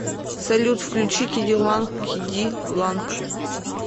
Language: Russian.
салют включи киди ланг ки ди ланг